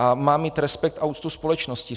A má mít respekt a úctu společnosti.